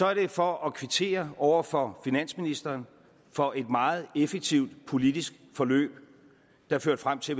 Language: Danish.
var det for at kvittere over for finansministeren for et meget effektivt politisk forløb der førte frem til